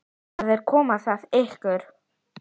Það er að koma myrkur.